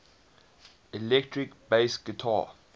electric bass guitar